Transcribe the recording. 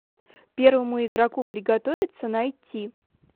первому игроку приготовиться найти